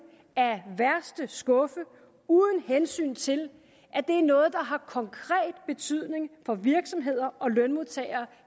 af værste skuffe uden hensyn til at det er noget der har konkret betydning for virksomheder og lønmodtagere